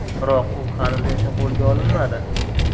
Biroq u hanuzgacha qo‘lga olinmadi.